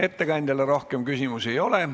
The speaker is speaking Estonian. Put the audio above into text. Ettekandjale rohkem küsimusi ei ole.